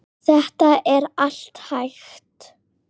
Þetta er allt hægt.